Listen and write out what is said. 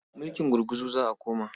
Mulking gurguzu za a koma.